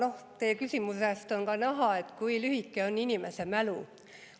Aga teie küsimusest on ka näha, kui lühike on inimese mälu.